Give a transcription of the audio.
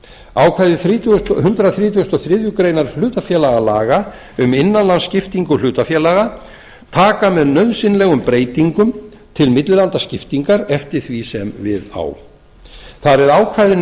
ákvæði hundrað þrítugasta og þriðju grein hlutafélagalaga um innanlandsskiptingu hlutafélaga taka með nauðsynlegum breytingum til millilandaskiptingar eftir því sem við á þar eð ákvæðin um